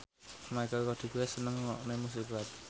Michelle Rodriguez seneng ngrungokne musik rap